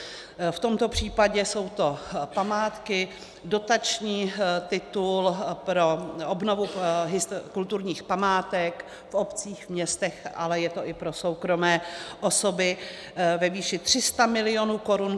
V tomto případě jsou to památky, dotační titul pro obnovu kulturních památek v obcích, městech, ale je to i pro soukromé osoby, ve výši 300 mil. korun.